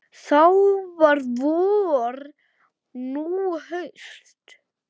Þá var vor, nú haust.